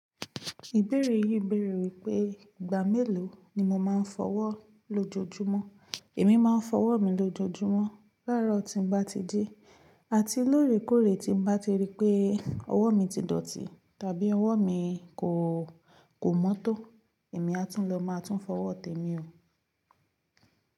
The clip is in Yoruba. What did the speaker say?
Ìbéèrè yìí bèèrè wípé ìgbà mélòó ni mo máa ń fọ ọwọ́ lójoojúmọ́. Èmi má ń fọ ọwọ́ mi lójoojúmọ́ láàárọ̀ tí n bá ti ji. Àti lóòrèkóòrè tí n bá ti rí pé ọwọ́ mi ti dọ̀tí tàbí ọwọ́ mi kò, kò mọ́tò, èmi a tún lọ máa tún fọ ọwọ́ tẹmi o.